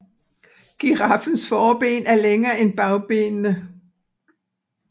Giraffens forben er længere end bagbenene